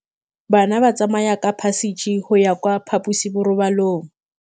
Bana ba tsamaya ka phašitshe go ya kwa phaposiborobalong.